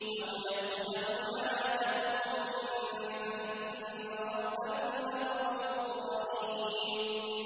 أَوْ يَأْخُذَهُمْ عَلَىٰ تَخَوُّفٍ فَإِنَّ رَبَّكُمْ لَرَءُوفٌ رَّحِيمٌ